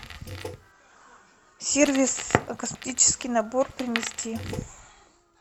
сервис косметический набор принести